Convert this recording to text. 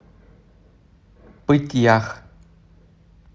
пыть ях